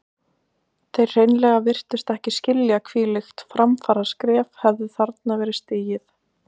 Þeir hreinlega virtust ekki skilja hvílíkt framfaraskref hefði þarna verið stigið.